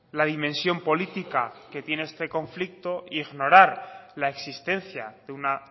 la dimensión política que tiene este conflicto ignorar la existencia de una